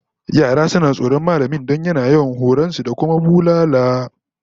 Yara suna tsoron mallamin don yana yawan horon su da kuma bulala